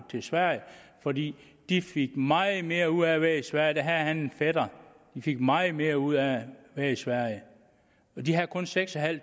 til sverige fordi de fik meget mere ud af at være i sverige der havde han en fætter de fik meget mere ud af at være i sverige de havde kun seks